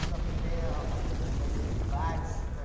dá uma ideia, vamos vai nesse bairro, outro vai...